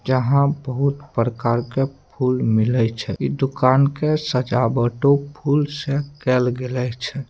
जहां बहुत प्रकार के फूल मिले छै ई दुकान के सजावटों फूल से कायल गेल छै।